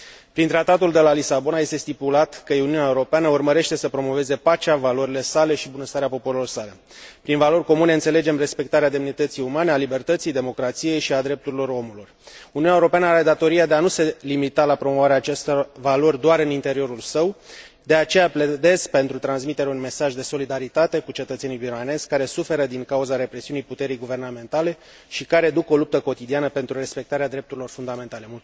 Prin Tratatul de la Lisabona, este stipulat că Uniunea Europeană urmărește să promoveze pacea, valorile sale și bunăstarea popoarelor sale. Prin valori comune înțelegem respectarea demnității umane, a libertății, democrației și a drepturilor omului. Uniunea Europeană are datoria de a nu se limita la promovarea acestor valori doar în interiorul său, de aceea pledez pentru transmiterea unui mesaj de solidaritate cu cetățenii birmanezi, care suferă din cauza represiunii puterii guvernamentale și care duc o luptă cotidiană pentru respectarea drepturilor fundamentale.